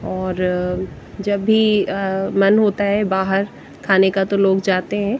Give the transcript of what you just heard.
और जब भी मन होता है बाहर खाने का तो लोग जाते हैं।